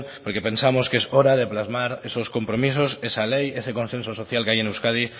porque pensamos que es hora de plasmar esos compromisos esa ley ese consenso social que hay en euskadi